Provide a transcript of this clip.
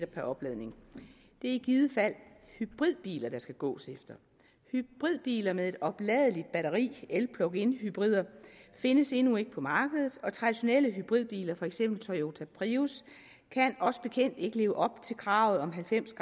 per opladning det er i givet fald hybridbiler der skal gås efter og hybridbiler med et opladeligt batteri en plug in hybrid findes endnu ikke på markedet og traditionelle hybridbiler for eksempel toyota prius kan os bekendt ikke leve op til kravet om halvfems